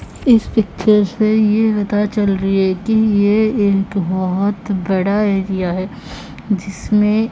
इस पिक्चर से यह पता चल रही है कि ये एक बहोत बड़ा एरिया है जिसमें--